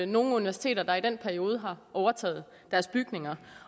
nogen universiteter der i den periode har overtaget deres bygninger